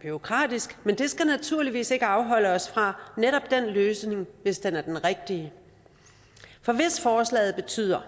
bureaukratisk men det skal naturligvis ikke afholde os fra netop den løsning hvis den er den rigtige for hvis forslaget betyder